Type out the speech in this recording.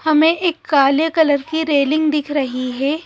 हमें एक काले कलर की रेलिंग दिख रही है।